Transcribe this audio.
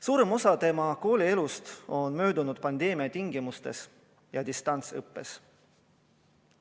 Suurem osa tema koolielust on möödunud pandeemia tingimustes ja distantsõppes.